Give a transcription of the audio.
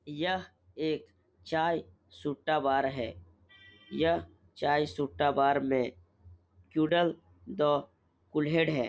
यह एक चाय सुट्टा बार है। यह चाय सुट्टा बार में क्युदल द कुल्हड़ है।